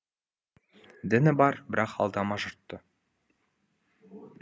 діні бар бірақ алдама жұртты